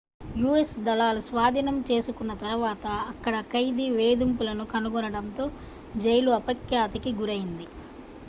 u.s. దళాలు స్వాధీనం చేసుకున్న తరువాత అక్కడ ఖైదీ వేధింపులను కనుగొనడంతో జైలు అపఖ్యాతి కి గురయింది